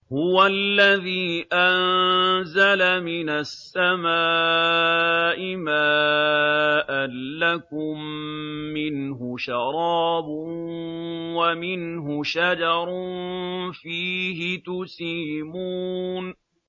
هُوَ الَّذِي أَنزَلَ مِنَ السَّمَاءِ مَاءً ۖ لَّكُم مِّنْهُ شَرَابٌ وَمِنْهُ شَجَرٌ فِيهِ تُسِيمُونَ